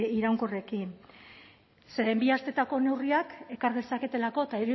iraunkorrekin zeren bi astetako neurriak ekar dezaketelako eta